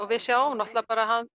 við sjáum náttúrulega